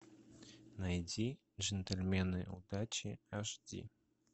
найди джентльмены удачи аш ди